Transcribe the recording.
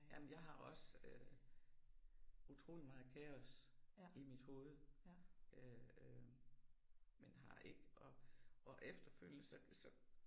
Jamen jeg har også øh utrolig meget kaos i mit hoved øh øh men har ikke og og efterfølgende så så